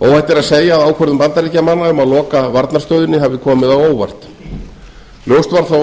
er að segja að ákvörðun bandaríkjamanna um að loka varnarstöðinni hafi komið á óvart ljóst var þó